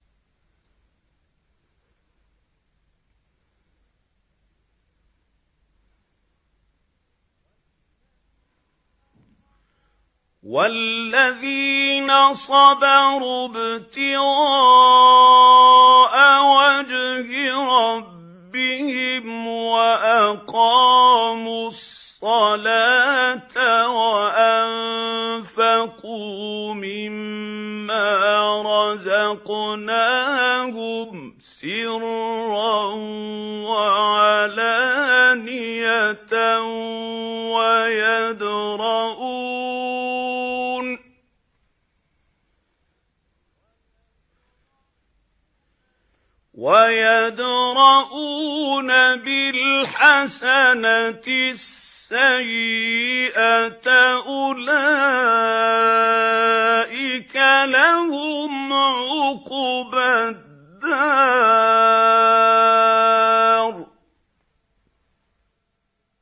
وَالَّذِينَ صَبَرُوا ابْتِغَاءَ وَجْهِ رَبِّهِمْ وَأَقَامُوا الصَّلَاةَ وَأَنفَقُوا مِمَّا رَزَقْنَاهُمْ سِرًّا وَعَلَانِيَةً وَيَدْرَءُونَ بِالْحَسَنَةِ السَّيِّئَةَ أُولَٰئِكَ لَهُمْ عُقْبَى الدَّارِ